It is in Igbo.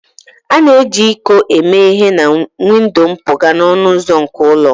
A na-eji iko eme ihe na windo mpụga na ọnụ ụzọ nke ụlọ